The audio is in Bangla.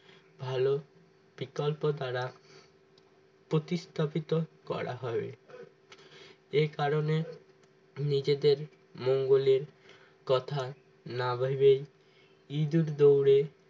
ভালো বিকল্পতারা প্রতিস্থাপিত করা হবে এই কারণে নিজেদের মঙ্গলের কথা না ভেবে ইঁদুর দৌড়ে